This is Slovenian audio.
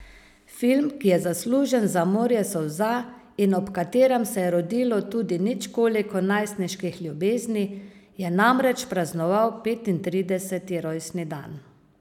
Film, ki je zaslužen za morje solza in ob katerem se je rodilo tudi nič koliko najstniških ljubezni, je namreč praznoval petintrideseti rojstni dan.